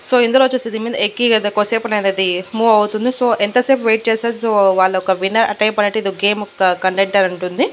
So ఇందులో వచ్చేసి దీని మీద ఎక్కి కదా కోసేపు ఉన్నది అది మూవ్ అవుతుంది. సో ఎంతసేపు వెయిట్ చేశా సో వాళ్లు ఒక విన్నర్ ఆ టైప్ అనేటిది ఒక గేమ్ కండక్టర్ ఉంటుంది.